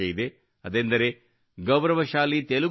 ಅದೆಂದರೆ ಗೌರವಶಾಲಿ ತೆಲುಗು ಭಾಷೆ